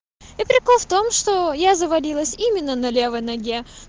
и прикол в том что я заволилась именно на левой ноге